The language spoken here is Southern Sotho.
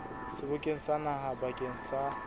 sebokeng sa naha bakeng sa